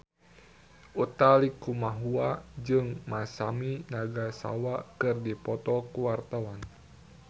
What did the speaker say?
Utha Likumahua jeung Masami Nagasawa keur dipoto ku wartawan